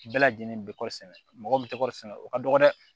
Bɛɛ lajɛlen bɛ kɔɔri sɛnɛ mɔgɔ bɛ kɔɔri sɛnɛ o ka dɔgɔn dɛ